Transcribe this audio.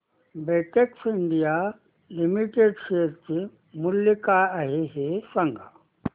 Betex India limited share चे मूल्य काय आहे हे सांगा